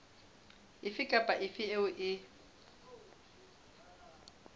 efe kapa efe eo e